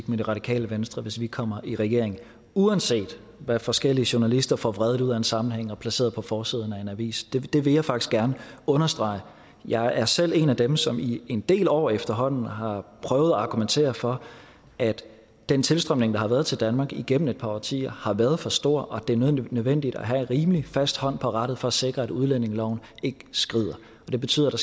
med det radikale venstre hvis vi kommer i regering uanset hvad forskellige journalister får vredet ud af en sammenhæng og placeret på forsiden af en avis det det vil jeg faktisk gerne understrege jeg er selv en af dem som i en del år efterhånden har prøvet at argumentere for at den tilstrømning der har været til danmark igennem et par årtier har været for stor og det er nødvendigt at have en rimelig fast hånd på rattet for at sikre at udlændingeloven ikke skrider det betyder at